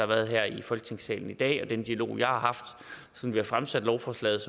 været her i folketingssalen i dag og den dialog jeg har haft siden vi fremsatte lovforslaget